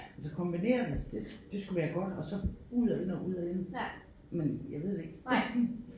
Altså kombinere det det det skulle være godt og så ud og ind og ud og ind men jeg ved det ikke